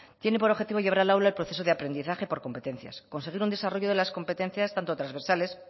tiene por objetivo de llevar al aula el proceso de aprendizaje por competencias conseguir un desarrollo las competencias tanto transversales